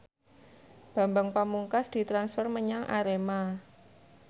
Bambang Pamungkas ditransfer menyang Arema